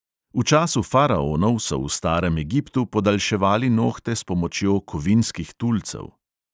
V času faraonov so v starem egiptu podaljševali nohte s pomočjo kovinskih tulcev.